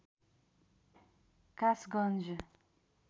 Kasganj